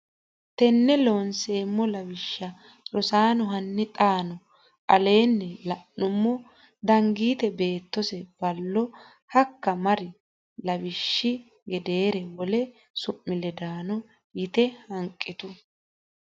Taqa Loonseemmo Lawishsha Rosaano hanni xaano aleenni la numo Danigiite beettose Ballo hakka mari lawishshi gedeere wole su mi ledaano yite hanqitu !